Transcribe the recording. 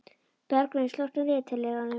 Bergvin, slökktu á niðurteljaranum.